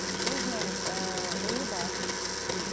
өзінің ііі ойы бар